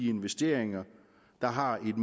investeringer der har et